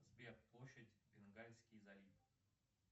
сбер площадь бенгальский залив